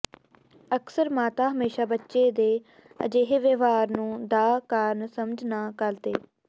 ਅਕਸਰ ਮਾਤਾ ਹਮੇਸ਼ਾ ਬੱਚੇ ਦੇ ਅਜਿਹੇ ਵਿਵਹਾਰ ਨੂੰ ਦਾ ਕਾਰਨ ਸਮਝ ਨਾ ਕਰਦੇ